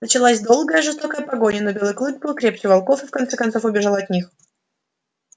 началась долгая жестокая погоня но белый клык был крепче волков и в конце концов убежал от них